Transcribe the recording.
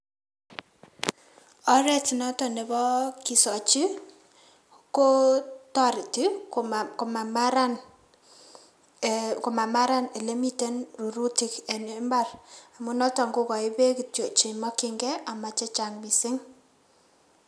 Oret noton nebo kisochi kotoreti komamaran ee komararan ilemiten rurutik en mbar amun noton kokoin beek kityok chemokyingei omo chechang' missing'.